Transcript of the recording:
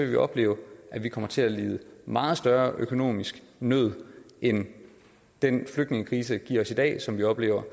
vi opleve at vi kommer til at lide meget større økonomisk nød end den flygtningekrise som vi oplever